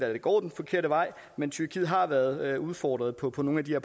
det går den forkerte vej men tyrkiet har været udfordret på på nogle af de